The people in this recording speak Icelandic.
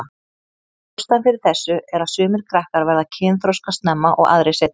Ástæðan fyrir þessu er að sumir krakkar verða kynþroska snemma og aðrir seinna.